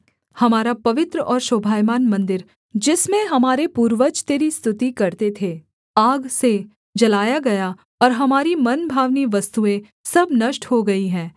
हमारा पवित्र और शोभायमान मन्दिर जिसमें हमारे पूर्वज तेरी स्तुति करते थे आग से जलाया गया और हमारी मनभावनी वस्तुएँ सब नष्ट हो गई हैं